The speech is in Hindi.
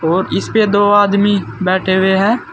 और इस पे दो आदमी बैठे हुए है।